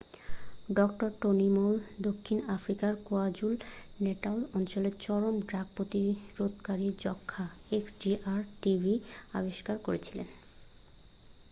Doctor Tony Moll দক্ষিণ আফ্রিকার KwaZulu Natal অঞ্চলে চরম ড্রাগ প্রতিরোধকারী যক্ষ্মা xdr-tb আবিষ্কার করেছিলেন।